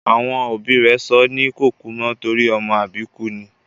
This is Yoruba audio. Àwọn òbí rẹ̀ sọ́ ní Kòkúmọ́ torí ọmọ àbíkú ni